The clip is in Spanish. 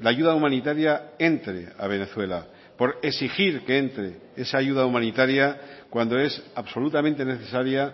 la ayuda humanitaria entre a venezuela por exigir que entre esa ayuda humanitaria cuando es absolutamente necesaria